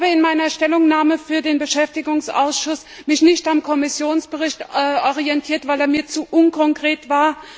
In meiner Stellungnahme für den Beschäftigungsausschuss habe ich mich nicht am Kommissionsbericht orientiert, weil er mir zu unkonkret war.